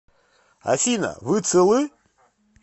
афина вы целы